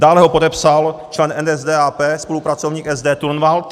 Dále ho podepsal člen NSDAP, spolupracovník SD Turnwald.